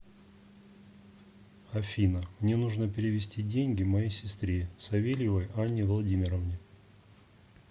афина мне нужно перевести деньги моей сестре савельевой анне владимировне